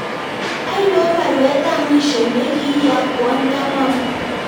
Ainon baruet ab mwisho negi iyakwon Kamau